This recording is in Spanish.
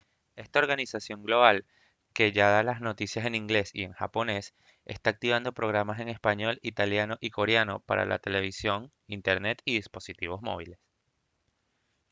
esta organización global que ya da las noticias en inglés y en japonés está activando programas en español italiano y coreano para la televisión internet y dispositivos móviles